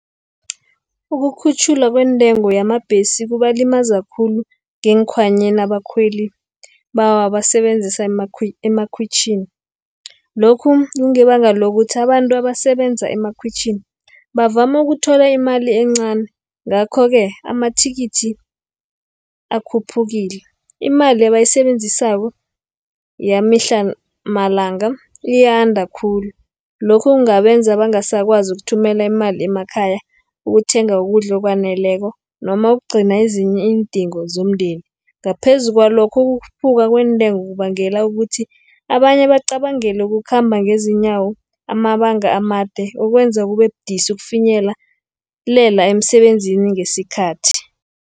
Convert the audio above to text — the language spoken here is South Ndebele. Ukukhutjhulwa kweentengo yamabhesi kubalimaza khulu ngeekhwanyeni abakhweli abawasebenzisa emakhwitjhini. Lokhu kungebanga lokuthi abantu abasebenza emakhwitjhini, bavama ukuthola imali encani, ngakho-ke amathikithi akhuphukile. Imali ebayisebenzisako, yamihla malanga iyanda khulu. Lokhu kungabenza bangasakwazi ukuthumela imali emakhaya, ukuthenga ukudla okwaneleko, noma ukugcina ezinye iindingo zomndeni. Ngaphezu kwalokho ukukhuphuka kweentengo kubangela ukuthi abanye bacabange nokukhamba ngezinyawo amabanga amade, ukwenza kube budisi ukufinyelela emisebenzini ngesikhathi.